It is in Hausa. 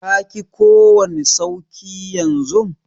ka ki kowani sauki yanzun?